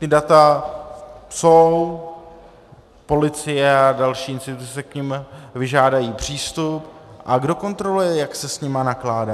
Ta data jsou, policie a další instituce si k nim vyžádají přístup - a kdo kontroluje, jak se s nimi nakládá?